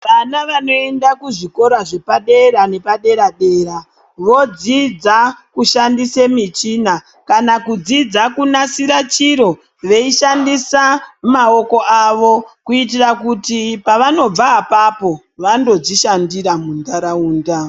Vana vanoenda kuzvikora zvepadera nepadera dera vodzidza kushandisa michina kana kudzidza kunasira chiro veishandisa maoko avo kuitira kuti pavanobva apapo vandodzishandira muntaraunda.